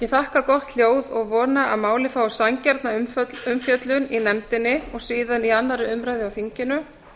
ég auka gott hljóð og vona að málið fái sanngjarna umfjöllun í nefndinni og síðan í annarri umræðu á þinginu